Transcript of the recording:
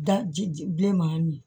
Daji bilenman min